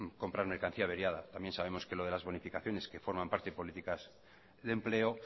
comprar mercancía averiada también sabemos que lo de las bonificaciones que forman parte de políticas de empleo